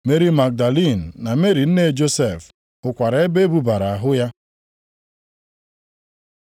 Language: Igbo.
Meri Magdalin na Meri nne Josef hụkwara ebe e bubara ahụ ya.